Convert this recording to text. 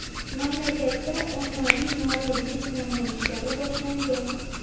Mamlakatda ommaviy norozilik namoyishlari boshlangan.